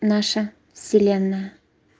наша вселенная